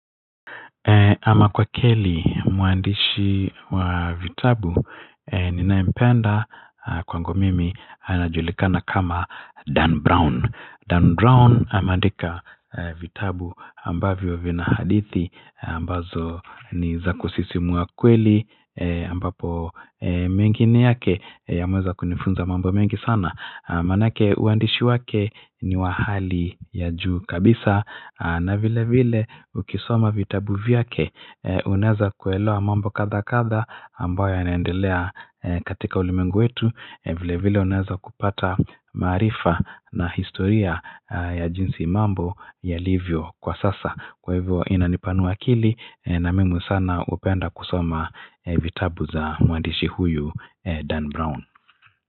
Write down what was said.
Ama kwa kweli muandishi wa vitabu ninayempenda kwangu mimi anajulikana kama Dan Brown. Dan Brown ameandika vitabu ambavyo vina hadithi ambazo ni za kusisimua kweli ambapo mengine yake yameweza kunifunza mambo mengi sana. Manake uandishi wake ni wa hali ya juu kabisa na vile vile ukisoma vitabu vyake uneweza kuelewa mambo kadha kadha ambayo yanaendelea katika ulimwengu wetu vile vile unaweza kupata maarifa na historia ya jinsi mambo yalivyo kwa sasa kwa hivyo inanipanua akili na mimi sana hupenda kusoma vitabu za muandishi huyu Dan Brown.